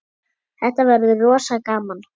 Þetta verður rosa gaman.